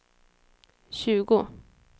tjugo